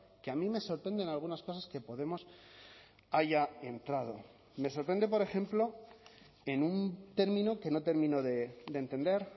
que a mí me sorprenden algunas cosas que podemos haya entrado me sorprende por ejemplo en un término que no termino de entender